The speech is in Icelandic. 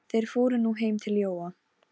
Stórri nál var stungið í hálsæð hestsins.